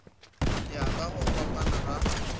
ya ka go fapana ga